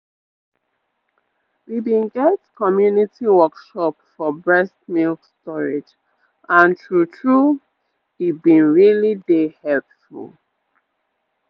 we been get community workshop for breast milk storage and true-true e been really dey helpful